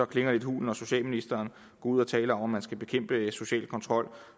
klinger lidt hult når socialministeren går ud og taler om at man skal bekæmpe social kontrol